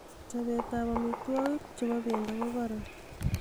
chbet ab omitwogik ab bendo ko koron